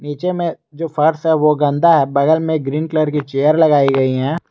नीचे में जो फर्श है वो गंदा है बगल में ग्रीन कलर की चेयर लगाई गई हैं।